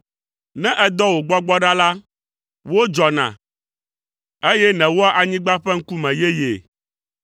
Ne èdɔ wò Gbɔgbɔ ɖa la, wodzɔna, eye nèwɔa anyigba ƒe ŋkume yeyee.